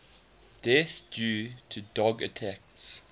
deaths due to dog attacks